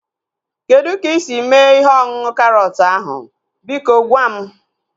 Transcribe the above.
Kedụ ka isi mee ihe ọṅụṅụ karọt ahu? Biko gwa m